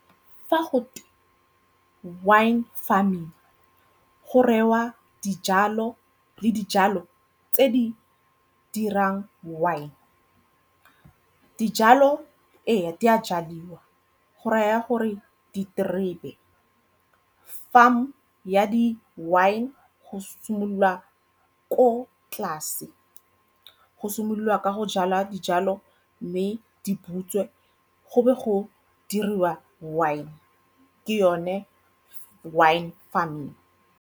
Fa go wine farming go rewa dijalo le dijalo tse di dirang wine. Dijalo ee, di a jadiwa go raya gore diterebe. Farm ya di-wine go simolola ko tlase go simolola ka go jala dijalo mme di butswe, go be go diriwa wine ke yone wine farming.